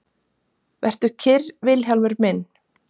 Vertu kyrr Vilhjálmur minn.